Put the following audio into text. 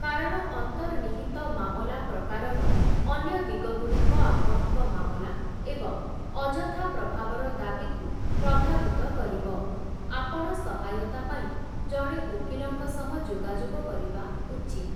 କାରଣ ଅନ୍ତର୍ନିହିତ ମାମଲା ପ୍ରକାରର ଅନ୍ୟ ଦିଗଗୁଡ଼ିକ ଆପଣଙ୍କ ମାମଲା ଏବଂ ଅଯଥା ପ୍ରଭାବର ଦାବିକୁ ପ୍ରଭାବିତ କରିବ, ଆପଣ ସହାୟତା ପାଇଁ ଜଣେ ଓକିଲଙ୍କ ସହ ଯୋଗାଯୋଗ କରିବା ଉଚିତ୍ ।